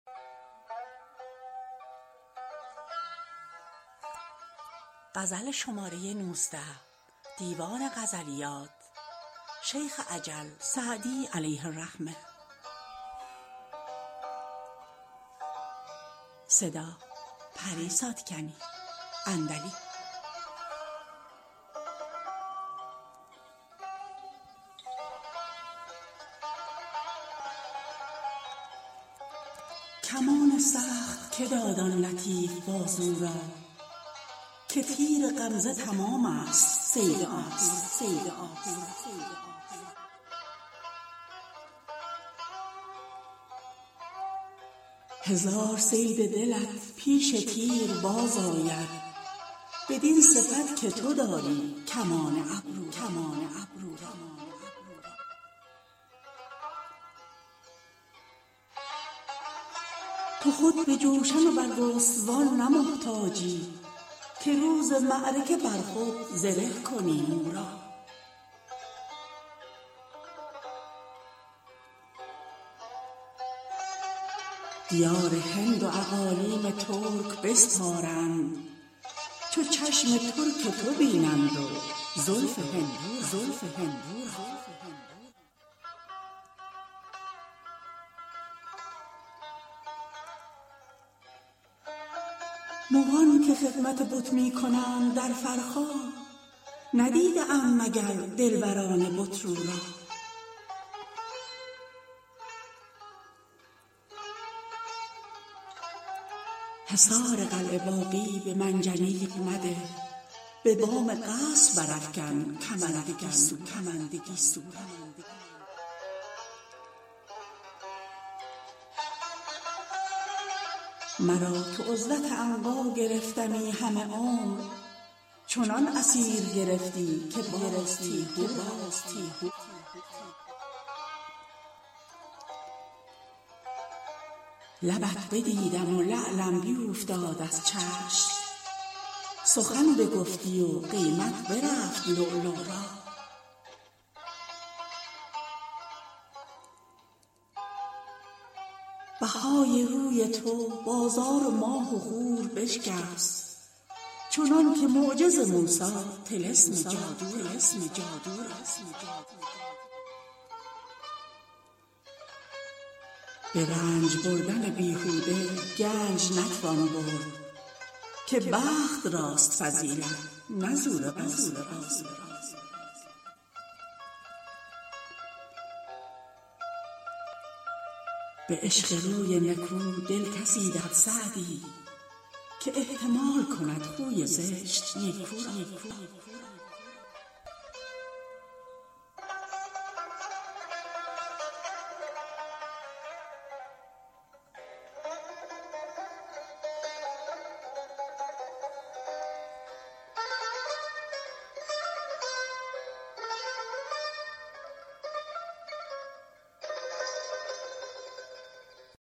کمان سخت که داد آن لطیف بازو را که تیر غمزه تمام ست صید آهو را هزار صید دلت پیش تیر باز آید بدین صفت که تو داری کمان ابرو را تو خود به جوشن و برگستوان نه محتاجی که روز معرکه بر خود زره کنی مو را دیار هند و اقالیم ترک بسپارند چو چشم ترک تو بینند و زلف هندو را مغان که خدمت بت می کنند در فرخار ندیده اند مگر دلبران بت رو را حصار قلعه باغی به منجنیق مده به بام قصر برافکن کمند گیسو را مرا که عزلت عنقا گرفتمی همه عمر چنان اسیر گرفتی که باز تیهو را لبت بدیدم و لعلم بیوفتاد از چشم سخن بگفتی و قیمت برفت لؤلؤ را بهای روی تو بازار ماه و خور بشکست چنان که معجز موسی طلسم جادو را به رنج بردن بیهوده گنج نتوان برد که بخت راست فضیلت نه زور بازو را به عشق روی نکو دل کسی دهد سعدی که احتمال کند خوی زشت نیکو را